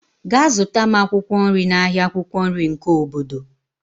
Gaa zụta m akwụkwọ nri n'ahịa akwukwo nri nke obodo.